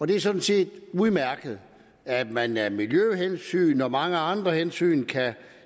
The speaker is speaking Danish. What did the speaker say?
det er sådan set udmærket at man af miljøhensyn og af mange andre hensyn kan